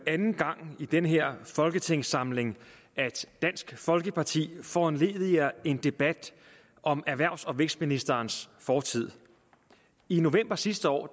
anden gang i den her folketingssamling at dansk folkeparti foranlediger en debat om erhvervs og vækstministerens fortid i november sidste år